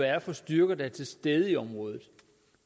er for styrker der er til stede i området